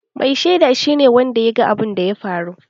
Mai sheda shi ne wanda ya ga abunda ya faru